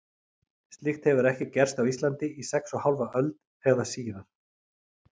Slíkt hefur ekki gerst á Íslandi í sex og hálfa öld, eða síðan